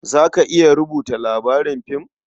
Za ka iya rubuta labarin fim?